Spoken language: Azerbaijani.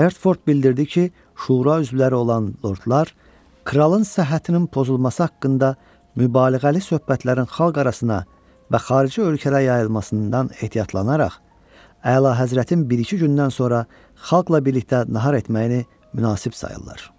Hertford bildirdi ki, şura üzvləri olan lordlar kralın səhhətinin pozulması haqqında mübaliğəli söhbətlərin xalq arasına və xarici ölkələrə yayılmasından ehtiyatlanaraq, əlahəzrətin bir-iki gündən sonra xalqla birlikdə nahar etməyini münasib sayırlar.